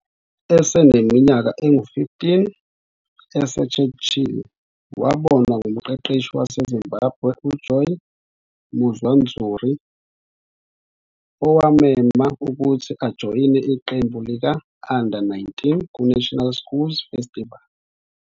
Eseneminyaka engu-15, eseChurchill, wabonwa ngumqeqeshi waseZimbabwe uJoey Muwadzuri owammema ukuthi ajoyine iqembu lika-Under 19 kuNational Schools Festival.